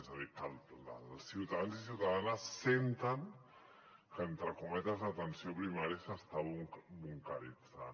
és a dir que els ciutadans i ciutadanes senten que entre cometes l’atenció primària s’està bunqueritzant